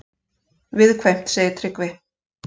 Viðkvæmt, segir Tryggvi.